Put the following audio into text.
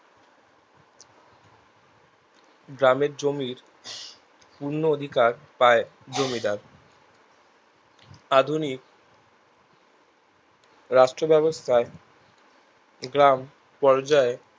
গ্রামের জমির পূর্ণ অধিকার পায় জমিদার আধুনিক রাষ্ট্র ব্যাবস্থায় গ্রাম পর্যায়